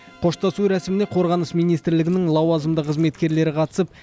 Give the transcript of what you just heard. қоштасу рәсіміне қорғаныс министрлігінің лауазымды қызметкерлері қатысып